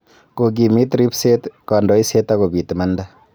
Kokimiit ribset ,kondoiset ak kobiit imanda